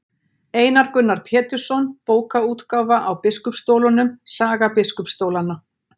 Einar Gunnar Pétursson, Bókaútgáfa á biskupsstólunum, Saga biskupsstólanna.